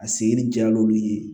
A senni jal'olu ye